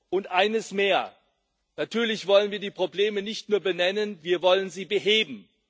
Und eines mehr Natürlich wollen wir die Probleme nicht nur benennen, wir wollen sie beheben.